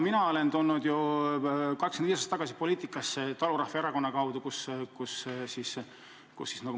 Mina tulin 25 aastat tagasi poliitikasse talurahva erakonna kaudu.